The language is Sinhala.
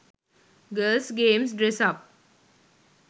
girls games dress up